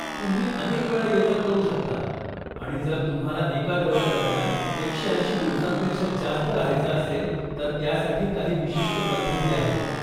तुम्ही अनेक वेळा ये जा करू शकता आणि जर तुम्हाला एका दौऱ्यादरम्यान एकशे ऐंशी दिवसांपेक्षा जास्त रहायचं असेल तर त्यासाठी काही विशिष्ट पद्धती आहेत.